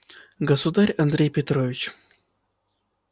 государь андрей петрович